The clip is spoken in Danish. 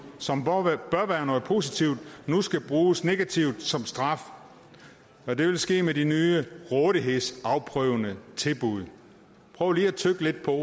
som bør være noget positivt nu skal bruges negativt som straf og det vil ske med de nye rådighedsafprøvende tilbud prøv lige at tygge lidt på